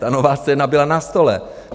Ta nová scéna byla na stole.